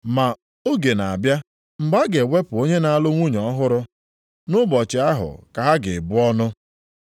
Ma oge na-abịa mgbe a ga-ewepụ onye na-alụ nwunye ọhụrụ. Nʼụbọchị ahụ ka ha ga-ebu ọnụ.